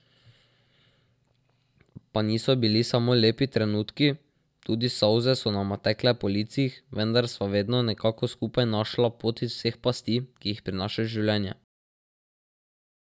Pa niso bili samo lepi trenutki, tudi solze so nama tekle po licih, vendar sva vedno nekako skupaj našla pot iz vseh pasti, ki jih prinaša življenje.